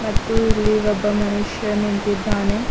ಮತ್ತು ಇಲ್ಲಿ ಒಬ್ಬ ಮನುಷ್ಯ ನಿಂತಿದ್ದಾನೆ.